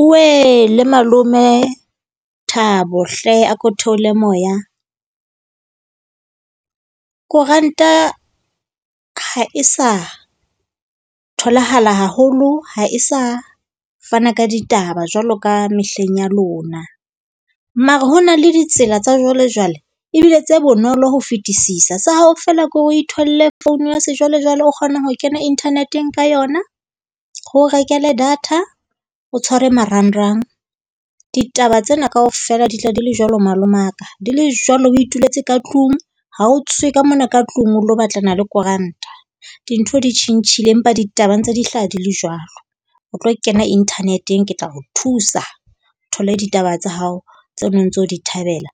Oewele, malome Thabo hle, a ko theole moya. Koranta ha e sa tholahala haholo, ha e sa fana ka ditaba jwaloka mehleng ya lona. Mara ho na le ditsela tsa jwalejwale ebile tse bonolo ho fetisisa. Sa hao feela ke hore o itholle phone ya sejwalejwale, o kgona ho kena internet-eng ka yona. Re o rekele data, o tshware marangrang. Ditaba tsena kaofela di tla di le jwalo, malomaka. Di le jwalo, o ituletse ka tlung, ha o tswe ka mona ka tlung, o ilo batlana le koranta. Dintho di tjhentjhile, empa ditaba ntse di hlaha di le jwalo. O tlo kena internet-eng. Ke tla o thusa o thole ditaba tsa hao tse neng o ntse o di thabela,